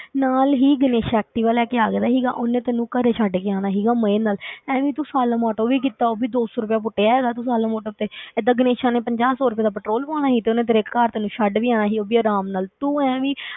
ਨਾਲ ਹੀ ਗਣੇਸ਼ ਐਕਟਿਵਾ ਲੈ ਕੇ ਆ ਗਿਆ ਸੀਗਾ, ਉਹਨੇ ਤੈਨੂੰ ਘਰੇ ਛੱਡ ਕੇ ਆਉਣਾ ਸੀਗਾ ਮਜ਼ੇ ਨਾਲ ਐਵੇਂ ਤੂੰ ਆਟੋ ਵੀ ਕੀਤਾ, ਉਹ ਵੀ ਦੋ ਸੌ ਰੁਪਇਆ ਪੁੱਟਿਆ ਹੈਗਾ ਤੂੰ ਆਟੋ ਤੇ ਏਦਾਂ ਗਣੇਸ਼ਾ ਨੇ ਪੰਜਾਹ ਸੌ ਰੁਪਏ ਦਾ ਪੈਟਰੋਲ ਪਵਾਉਣਾ ਸੀ, ਤੇ ਉਹਨੇ ਤੇਰੇ ਘਰ ਤੈਨੂੰ ਛੱਡ ਵੀ ਆਉਣਾ ਸੀ, ਉਹ ਵੀ ਆਰਾਮ ਨਾਲ, ਤੂੰ ਐਵੀਂ